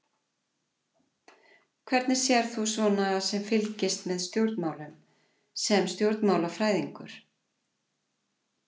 Hvernig sérð þú svona sem fylgist með stjórnmálum sem stjórnmálafræðingur?